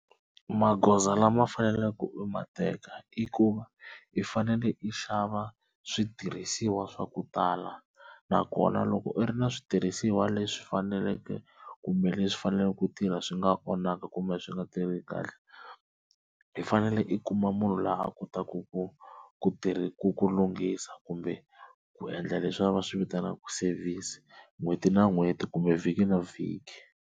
Magoza lama faneleke u ma teka i ku va i fanele i xava switirhisiwa swa ku tala nakona loko u ri na switirhisiwa leswi faneleke kumbe leswi faneleke ku tirha swi nga onhaka kumbe swi nga tirhi kahle, i fanele i kuma munhu la a kotaku ku ku tirha ku lunghisa kumbe ku endla leswi va swi vitanaka service n'hweti na n'hweti kumbe vhiki na vhiki.